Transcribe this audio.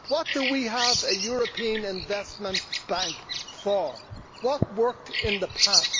What do we have a European Investment Bank for? What worked in the past?